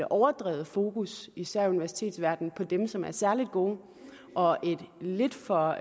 overdrevet fokus især i universitetsverdenen på dem som er særlig gode og lidt for